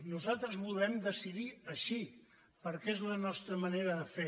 nosaltres volem decidir així perquè és la nostra manera de fer